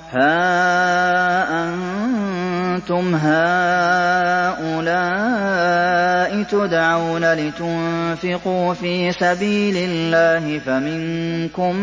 هَا أَنتُمْ هَٰؤُلَاءِ تُدْعَوْنَ لِتُنفِقُوا فِي سَبِيلِ اللَّهِ فَمِنكُم